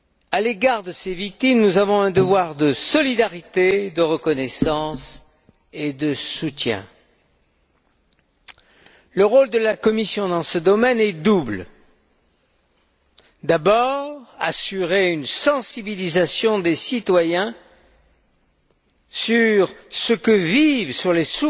À leur égard, nous avons un devoir de solidarité, de reconnaissance et de soutien. Le rôle de la Commission dans ce domaine est double. D'abord, assurer une sensibilisation des citoyens sur ce que vivent les